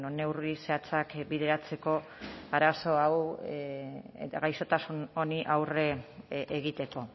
neurri zehatzak bideratzeko arazo hau eta gaixotasun honi aurre egiteko